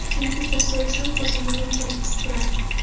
Chunki pul so‘rasam o‘zimni noqulay his qilardim.